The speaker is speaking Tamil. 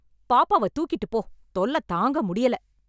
பாப்பாவை தூக்கிட்டு போ... தொல்லை தாங்க முடியல...